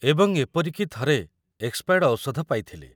ଏବଂ ଏପରିକି ଥରେ ଏକ ଏକ୍ସପାୟର୍ଡ଼ ଔଷଧ ପାଇଥିଲି।